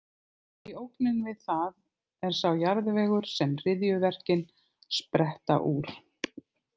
Því að ógnin við það er sá jarðvegur sem hryðjuverkin spretta úr.